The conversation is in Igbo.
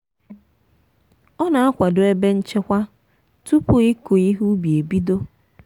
ọ na-akwado ebe nchekwa tupu ịkụ ihe ubi e bido.